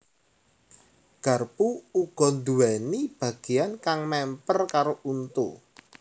Garpu uga nduwèni bagéyan kang mèmper karo untu